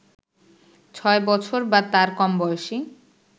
৬ বছর বা তার কম বয়সী